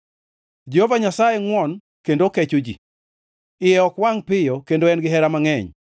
Jehova Nyasaye ngʼwon kendo kecho ji, iye ok wangʼ piyo kendo en gihera mangʼeny.